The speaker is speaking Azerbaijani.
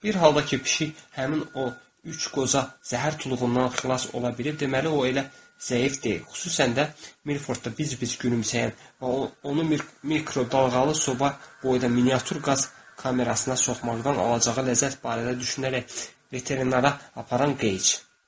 Bir halda ki, pişik həmin o üç qoca zəhər tuluğundan xilas ola bilir, deməli o elə zəif deyil, xüsusən də Mirfordda biz-biz gülümsəyən və onu mikro dalğalı soba boyda miniatür qaz kamerasına soxmaqdan alacağı ləzzət barədə düşünərək veterinara aparan qəyç.